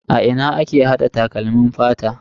A ina ake hada takalmin fata?